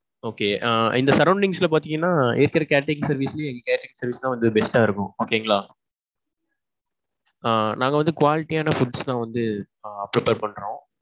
okay ஆ இந்த sorrounds ல பாத்தீங்கன்னா இருக்குற catering service லேயே எங்க catering service தான் best டா இருக்கும். okay ங்களா. ஆ நாங்க வந்து quality யான foods தான் வந்து prepare பண்றோம்.